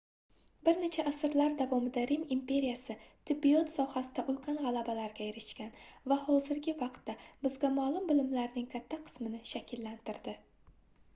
bir necha asrlar davomida rim imperiyasi tibbiyot sohasida ulkan gʻalabalarga erishgan va hozirgi vaqtda bizga maʼlum bilimlarning katta qismini shakllantirdi